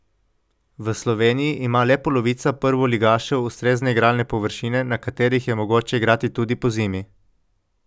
V Sloveniji ima le polovica prvoligašev ustrezne igralne površine, na katerih je mogoče igrati tudi pozimi.